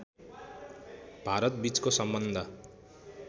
भारतबीचको सम्बन्ध